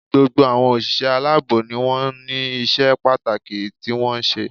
Gbogbo àwọn òṣìṣẹ́ aláàbò ni wọ́n ní isé pàtàkì tí wọ́n ń ṣe